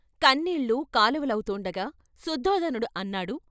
కన్నీళ్లు కాలవలవుతూండగా శుద్ధోదనుడు అన్నాడు.